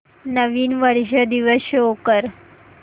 नवीन वर्ष दिवस शो कर